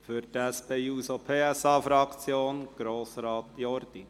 Für die SP-JUSO-PSA-Fraktion: Grossrat Jordi.